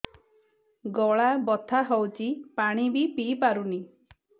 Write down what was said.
ଗଳା ବଥା ହଉଚି ପାଣି ବି ପିଇ ପାରୁନି